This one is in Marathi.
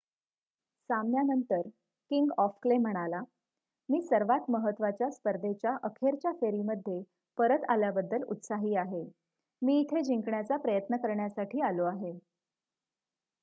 "सामन्यानंतर किंग ऑफ क्ले म्हणाला "मी सर्वांत महत्त्वाच्या स्पर्धेच्या अखेरच्या फेरीमध्ये परत आल्याबद्दल उत्साही आहे. मी इथे जिंकण्याचा प्रयत्न करण्यासाठी आलो आहे.""